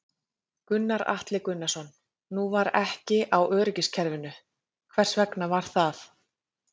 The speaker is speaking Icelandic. Gunnar Atli Gunnarsson: Nú var ekki á öryggiskerfinu, hvers vegna var það?